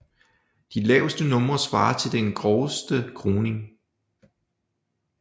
De laveste numre svarer til den groveste korning